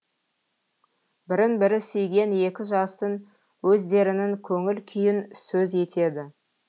бірін бірі сүйген екі жастың өздерінің көңіл күйін сөз етеді